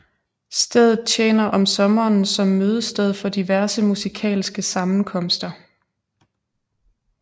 Stedet tjener om sommeren som mødested for diverse musikalske sammenkomster